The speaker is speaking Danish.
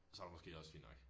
Så det måske også fint nok